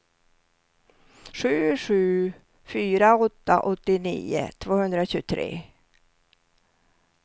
sju sju fyra åtta åttionio tvåhundratjugotre